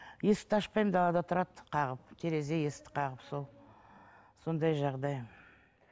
есікті ашпаймын далада тұрады қағып терезе есікті қағып сол сондай жағдай